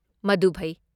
ꯃꯗꯨ ꯐꯩ꯫